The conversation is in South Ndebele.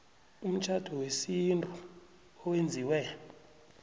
umtjhado wesintu owenziwe